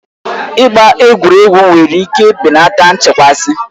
Ịgba egwuregwu nwere ike belata nchekasị.